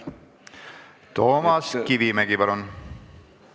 Toomas Kivimägi, palun!